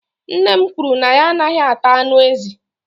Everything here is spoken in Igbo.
nne m kwuru na ya anaghị ata anụ ezi